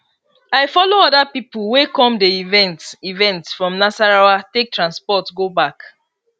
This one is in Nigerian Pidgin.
i follow other people wey come di event event from nasarawa take transport go back